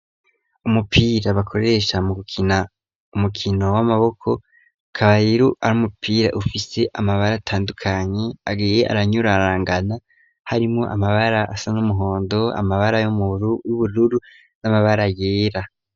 Umupira bakoresha mu gukina umukino w'amaboko ukaba rero ari umupira ufise amabara atandukanye agiye aranyurarangana harimo amabara asa n'umuhondo amabara y'ubururu n'amabara yera.